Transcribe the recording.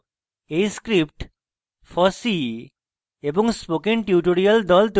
এই script fossee এবং spoken tutorial the তৈরী করেছে